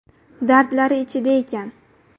Dardlari ichida ekan.